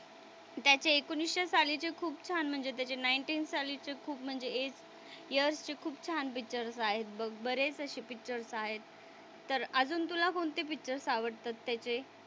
तर त्याचे एकोणीसशे सालीचे खूप छान म्हणजे त्याचे नाईंटीन सालीचे खूप म्हणजे एट इयर्सचे खूप छान पिक्चर्स आहेत बघ. बरेच असे पिक्चर्स आहेत. तर अजून तुला कोणते पिक्चर्स आवडतात त्याचे?